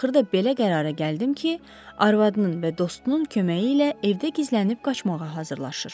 Axırda belə qərara gəldim ki, arvadının və dostunun köməyi ilə evdə gizlənib qaçmağa hazırlaşır.